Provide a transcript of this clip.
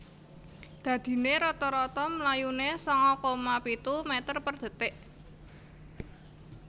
Dadinè rata rata mlayunè sanga koma pitu meter per detik